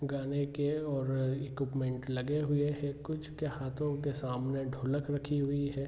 गाने के और इक्विपमेंट लगे हुए है कुछ के हाथो के सामने ढोलक रखी हुई हैं।